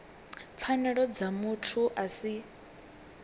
pfanelo dza muthu a si